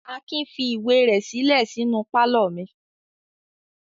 Akin fi ìwé rẹ̀ sílẹ̀ sínú pálọ̀ mi.